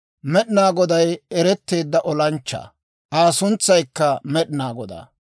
Med'inaa Goday ereteedda olanchchaa; Aa suntsaykka Med'inaa Godaa.